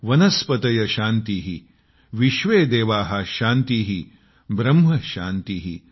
वनस्पतयः शान्तिः विश्वेदेवाः शान्तिः ब्रह्म शान्तिः